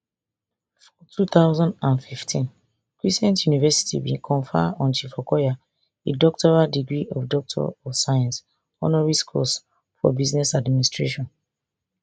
for two thousand and fifteen cresent university bin confer on chief okoya a doctoral degree of doctor of science honoris causa for business administration